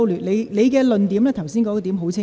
你剛才的論點已很清楚。